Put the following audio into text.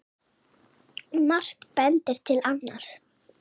Margt bendir til annars.